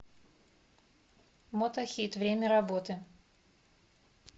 мотохит время работы